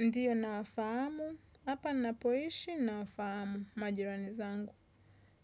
Ndiyo nawafahamu, hapa napoishi nawafahamu majirani zangu.